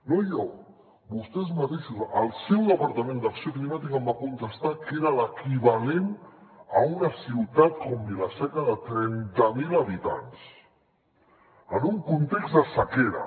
no jo vostès mateixos el seu departament d’acció climàtica em va contestar que era l’equivalent a una ciutat com vila seca de trenta mil habitants en un context de sequera